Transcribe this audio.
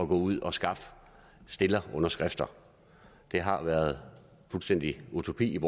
gå ud og skaffe stillerunderskrifter det har været fuldstændig urimeligt